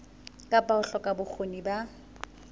kapa ho hloka bokgoni ba